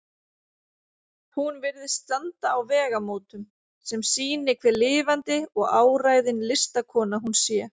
Hún virðist standa á vegamótum, sem sýni hve lifandi og áræðin listakona hún sé.